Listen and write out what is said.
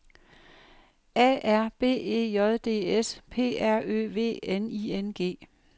A R B E J D S P R Ø V N I N G